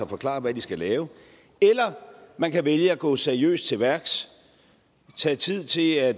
forklare hvad de skal lave eller man kan vælge at gå seriøst til værks tage tid til at